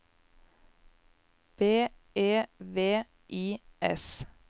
B E V I S